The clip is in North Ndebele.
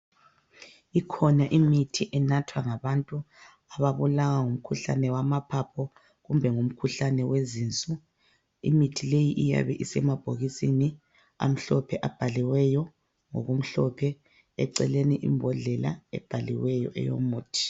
Ikhona imithi enathwa ngabantu ababulawa ngumkhuhlane wamaphaphu kumbe ngumkhuhlane wenziso. Imithi leyi iyabe isemabhodleleni amhlophe abhaliweyo ngokumhlophe eceleni imbodlela abhaliweyo eyomuthi.